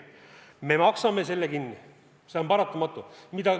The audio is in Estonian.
Me maksame selle kinni, see on paratamatu.